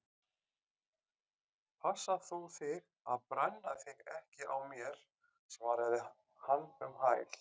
Passa þú þig að brenna þig ekki á mér- svaraði hann um hæl.